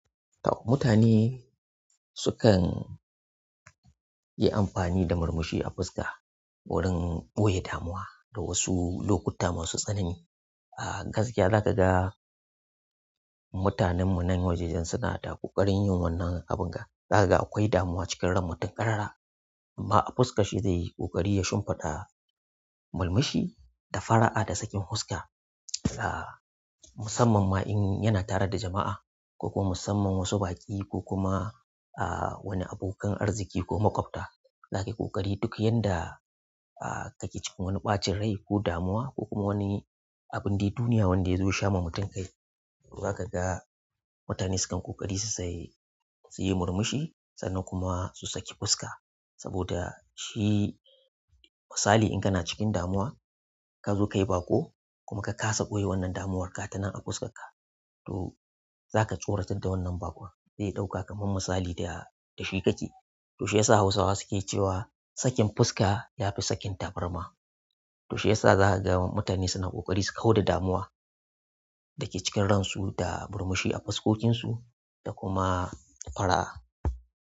To mutane sukan yi amfani da murmushi a fuska wurin ɓoye damuwa da wasu lokuta masu tsanani. A gaskiya za ka ga mutanen mu nan wajejan suna da ƙoƙarin yin wannan abun ga. Za ka ga akwai damuwa cikin ran mutum ƙarara, amma a fuskar shi zai yi ƙoƙari ya shimfiɗa murmushi da fara'a da sakin huska. A musamman ma in yana tare da jama'a ko kuma musamman wasu baƙi ko kuma ah wani abokan arziki ko maƙwabta. Za ka yi ƙoƙari duk yanda kake cikin wani ɓacin rai ko damuwa ko kuma wani abin dai duniya wanda zai sha ma mutum kai. To za ka ga mutane sukan ƙoƙari su saye, su yi murmushi sannan kuma su saki fuska. Saboda shi misali in kana cikin damuwa ka zo ka yi baƙo kuma ka ƙasa ɓoye wannan damuwarka ta nan a fuskarka to za ka choratar da wannan baƙon zai ɗauka kaman misali da da shi kake. To shiyasa Hausawa suke cewa sakin fuska ya fi sakin taburma. To shiyasa za ka ga mutane suna ƙoƙari su kau da damuwa da ke cikin ransu da murmushi a fuskokinsu da kuma fara'a.